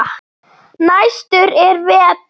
Næstur er Vetur.